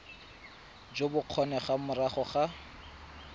jo bo kgonegang morago ga